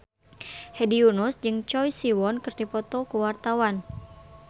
Hedi Yunus jeung Choi Siwon keur dipoto ku wartawan